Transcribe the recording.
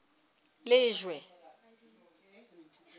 lejwe